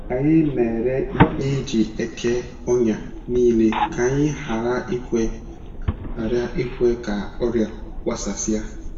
Anyị na-ere ihe e ji eke ọnya nile ka anyị ghara ikwe ghara ikwe ka ọrịa gbasasịa.